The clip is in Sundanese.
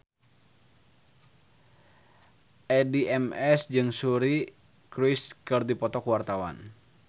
Addie MS jeung Suri Cruise keur dipoto ku wartawan